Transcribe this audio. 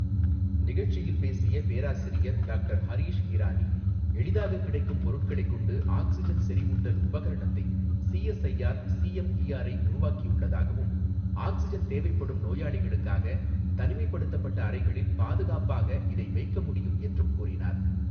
நிகழ்ச்சியில் பேசிய பேராசிரியர் டாக்டர் ஹரிஷ் ஹிராணி, எளிதாகக் கிடைக்கும் பொருட்களைக் கொண்டு ஆக்சிஜன் செறிவூட்டல் உபகரணத்தை சிஎஸ்ஐஆர் சிஎம்ஈஆர்ஐ உருவாகியுள்ளதாகவும், ஆக்சிஜன் தேவைப்படும் நோயாளிகளுக்காக தனிமைப்படுத்தப்பட்ட அறைகளில் பாதுகாப்பாக இதை வைக்க முடியும் என்றும் கூறினார்.